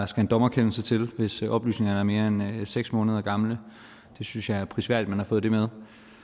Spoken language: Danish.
skal en dommerkendelse til hvis oplysningerne er mere end seks måneder gamle det synes jeg er prisværdigt man har fået med